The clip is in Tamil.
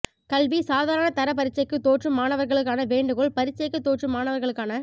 கல்வி சாதாரண தர பரீட்சைக்கு தோற்றும் மாணவர்களுக்கான வேண்டுகோள் பரீட்சைக்கு தோற்றும் மாணவர்களுக்கான